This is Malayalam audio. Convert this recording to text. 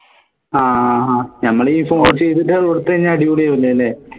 ആഹ് നമ്മളെ ഈ phone ൽ ചെയ്തിട്ട് കൊടുത്ത അടിപൊളി ആവു ല്ലേ